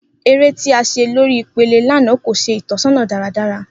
Ere ti a ṣe lori ipele lana ko ṣe itọsọna daradara.